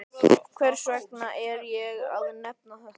Hvers vegna er ég að nefna þetta?